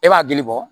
E b'a dili bɔ